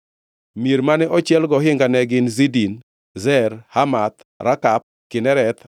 Mier mane ochiel gohinga ne gin: Zidin, Zer, Hamath, Rakath, Kinereth,